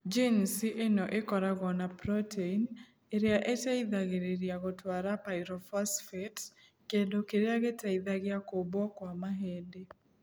Jinici ĩno ĩkoragwo na proteini ĩrĩa ĩteithagĩrĩria gũtwara pyrophosphate (kĩndũ kĩrĩa gĩteithagia kũmbwo kwa mahĩndĩ).